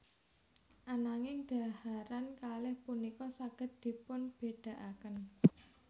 Ananging dhaharan kalih punika saged dipunbédakaken